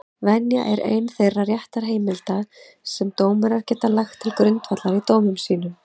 Venja er ein þeirra réttarheimilda sem dómarar geta lagt til grundvallar í dómum sínum.